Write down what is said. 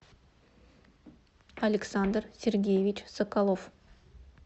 александр сергеевич соколов